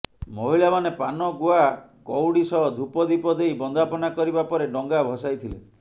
ମହିଳାମାନେ ପାନ ଗୁଆ କଉଢି ସହ ଧୁପ ଦୀପ ଦେଇ ବନ୍ଦାପନା କରିବା ପରେ ଡଙ୍ଗା ଭସାଇଥିଲେ